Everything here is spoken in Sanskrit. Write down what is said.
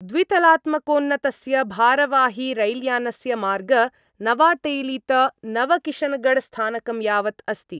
द्वितलात्मकोन्नतस्य भारवाहिरैल्यानस्य मार्ग नवाटेलीत नवकिशनगढ़स्थानकं यावत् अस्ति।